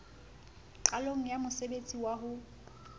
qalong ya mosebtsi wa ho